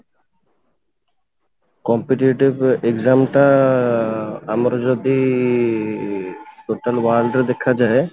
competitive exam ଟା ଆମର ଯଦି total world ରେ ଦେଖାଯାଏ